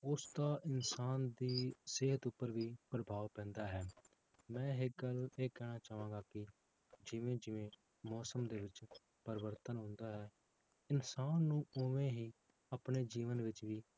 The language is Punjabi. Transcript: ਉਸਦਾ ਇਨਸਾਨ ਦੀ ਸਿਹਤ ਉੱਪਰ ਵੀ ਪ੍ਰਭਾਵ ਪੈਂਦਾ ਹੈ, ਮੈਂ ਇੱਕ ਗੱਲ ਇਹ ਕਹਿਣਾ ਚਾਹਾਂਗਾ ਕਿ ਜਿਵੇਂ ਜਿਵੇਂ ਮੌਸਮ ਦੇ ਵਿੱਚ ਪਰਿਵਰਤਨ ਹੁੰਦਾ ਹੈ, ਇਨਸਾਨ ਨੂੰ ਉਵੇਂ ਹੀ ਆਪਣੇ ਜੀਵਨ ਵਿੱਚ ਵੀ